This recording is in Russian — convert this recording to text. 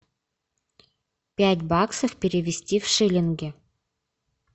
пять баксов перевести в шиллинги